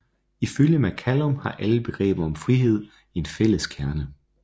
Ifølge McCallum har alle begreber om frihed en fælles kerne